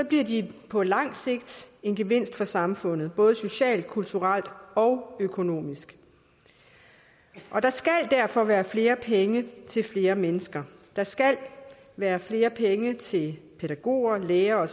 bliver de på lang sigt en gevinst for samfundet både socialt kulturelt og økonomisk og der skal derfor være flere penge til flere mennesker der skal være flere penge til pædagoger lærere